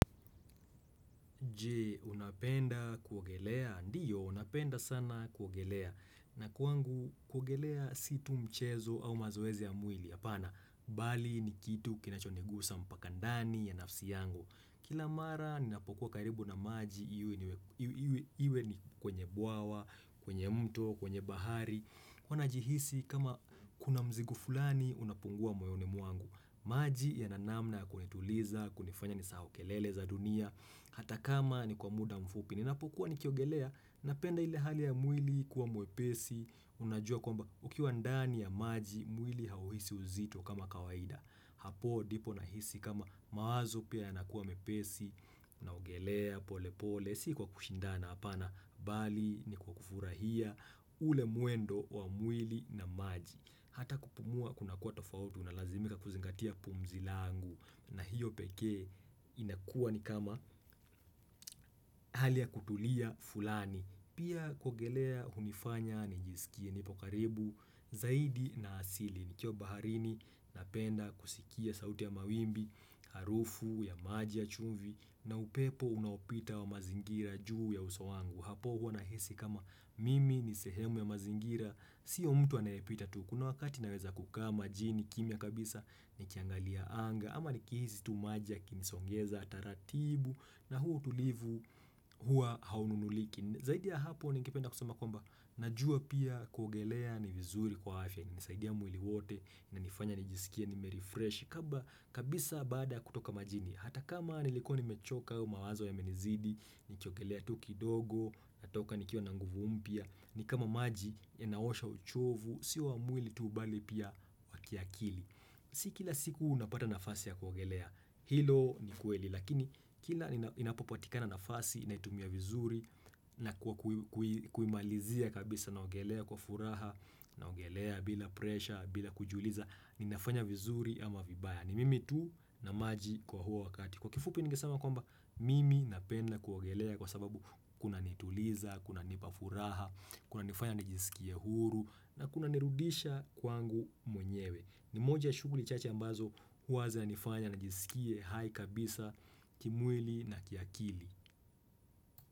Je, unapenda kuogelea? Ndiyo, napenda sana kuogelea. Na kwangu, kuogelea si tu mchezo au mazoezi ya mwili. Apana, bali ni kitu kinachonigusa mpaka ndani ya nafsi yangu. Kila mara, ninapokuwa karibu na maji, iwe ni kwenye bwawa, kwenye mto, kwenye bahari. Huwa najihisi, kama kuna mzigo fulani, unapungua moyoni mwangu. Maji yana namna ya kunituliza, kunifanya nisahau kelele za dunia. Hata kama ni kwa muda mfupi, ninapokuwa nikiogelea, napenda ile hali ya mwili kuwa mwepesi, unajua kwamba ukiwa ndani ya maji, mwili hauhisi uzito kama kawaida. Hapo ndipo nahisi kama mawazo pia yanakuwa mepesi, unaogelea pole pole, si kwa kushindana hapana, bali ni kwa kufurahia ule mwendo wa mwili na maji. Hata kupumua kunakuwa tofauti una lazimika kuzingatia pumzi langu na hiyo peke inakuwa ni kama hali ya kutulia fulani. Pia kuogelea hunifanya nijiskie nipo karibu zaidi na asili. Nikiwa baharini napenda kusikia sauti ya mawimbi, harufu ya maji ya chumvi na upepo unaopita wa mazingira juu ya uso wangu. Hapo huwa nahisi kama mimi ni sehemu ya mazingira sio mtu anayepita tu kuna wakati naweza kukaa majini kimya kabisa nikiangalia anga ama nikihisi tu maji yakinisongeza taratibu na huu utulivu huwa haununuliki zaidi ya hapo ningependa kusema kwamba najua pia kuogelea ni vizuri kwa afya inanisaidia mwili wote unanifanya nijiskie nime refreshi kabla kabisa baada kutoka majini hata kama nilikuwa nimechoka mawazo yamenizidi nikiogelea tu kidogo, natoka nikiwa na nguvu mpya, ni kama maji yanaosha uchovu, sio wa mwili tu bali pia wa kiakili. Si kila siku unapata nafasi ya kuogelea, hilo ni kweli, lakini kila inapopatikana nafasi, naitumia vizuri, na kwa kuimalizia kabisa naogelea kwa furaha, naogelea bila presha, bila kujiuliza, ninafanya vizuri ama vibaya. Ni mimi tu na maji kwa huo wakati. Kwa kifupi ningesema kwamba, mimi napenda kuogelea kwa sababu kunanituliza, kunanipa furaha, kunanifanya nijiskie huru na kunanirudisha kwangu mwenyewe. Ni moja shughuli chache ambazo huwa zinanifanya nijiskie hai kabisa, kimwili na kiakili.